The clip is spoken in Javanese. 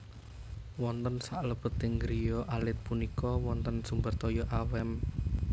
Wonten saklebeting griya alit punika wonten sumber toya awet nem